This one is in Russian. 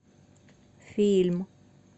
фильм